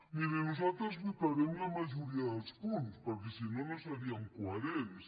miri nosaltres votarem la majoria dels punts perquè si no no seríem coherents